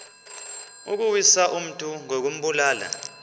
ukuwisa umntu ngokumbulala